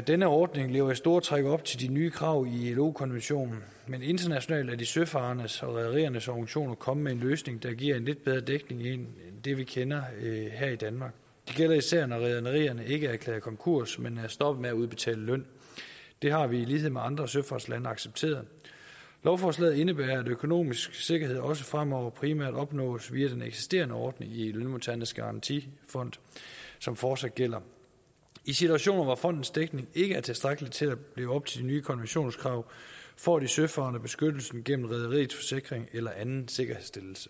denne ordning lever i store træk op til de nye krav i ilo konventionen men internationalt er de søfarendes og rederiernes organisationer kommet med en løsning der giver lidt bedre dækning end den vi kender her i danmark det gælder især når rederierne ikke er erklæret konkurs men er stoppet med at udbetale løn det har vi i lighed med andre søfartslande accepteret lovforslaget indebærer at økonomisk sikkerhed også fremover primært opnås via den eksisterende ordning i lønmodtagernes garantifond som fortsat gælder i situationer hvor fondens dækning ikke er tilstrækkelig til at leve op til de nye konventioners krav får de søfarende beskyttelsen gennem rederiets forsikring eller anden sikkerhedsstillelse